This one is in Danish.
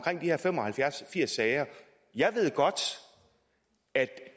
her fem og halvfjerds firs sager jeg ved godt at